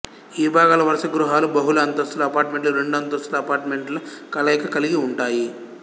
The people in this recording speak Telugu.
ఈ విభాగాల వరుస గృహాలు బహుళ అంతస్తుల అపార్టుమెంట్లు రెండు అంతస్తుల అపార్టుమెంటుల కలయక కలిగి ఉంటాయి